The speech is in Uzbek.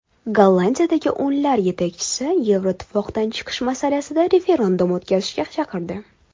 Gollandiyadagi o‘nglar yetakchisi Yevroittifoqdan chiqish masalasida referendum o‘tkazishga chaqirdi.